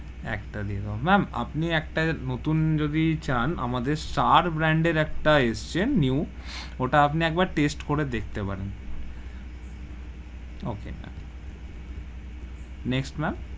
একটা দিয়ে দেব, ma'am আপনি একটা নুতুন যদি চান আমাদের সার brand এর একটা এসেছে new ওটা আমি একবার taste করে দেখতে পারেন okay, next ma'am,